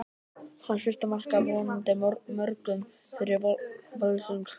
Hans fyrsta mark, af vonandi mörgum, fyrir Völsung!